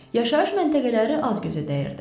Yaşayış məntəqələri az gözə dəyirdi.